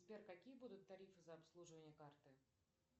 сбер какие будут тарифы за обслуживание карты